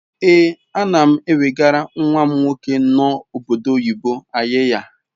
Ee anam ewegara nwam nwoke no obodo oyibo ayiya